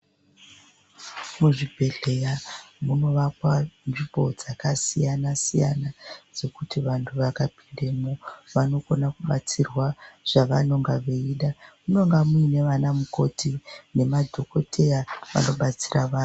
Mizvibhehleya munorapwa mbiko dzakasiyana siyana dzekuti vantu vakapindemwo vanokone kubatsirwa zvavanenge veida .Munonga muina na mukoti nemadhokoteya vanobatsira vantu .